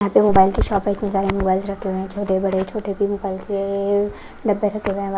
mobile की shop है कि सारे मोबाइल छोटे बड़े छोटे --